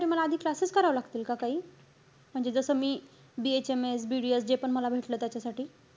मला आधी classes करावे लागतील का काही? म्हणजे जस मी BHMS, BDS जे पण मला भेटलं त्याचसाठी?